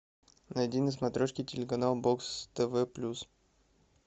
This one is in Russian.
найди на смотрешке телеканал бокс тв плюс